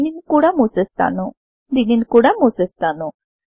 దీనిని కూడా ముసేస్తానుదీనిని కూడా ముసేస్తాను